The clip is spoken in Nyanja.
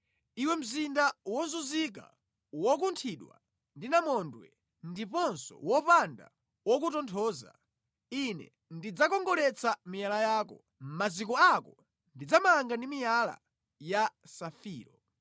“Iwe mzinda wozunzika, wokunthidwa ndi namondwe ndiponso wopanda wokutonthoza, Ine ndidzakongoletsa miyala yako. Maziko ako ndidzamanga ndi miyala ya safiro.